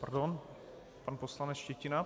Pardon, pan poslanec Štětina.